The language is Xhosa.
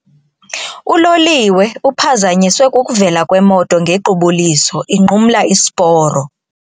Uloliwe uphazanyiswe kukuvela kwemoto ngequbuliso inqumla isiporo.